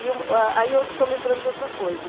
E um, ah, aí eu estou lembrando de outra coisa.